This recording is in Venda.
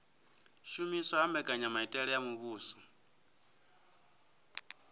shumiswa ha mbekanyamitele ya muvhuso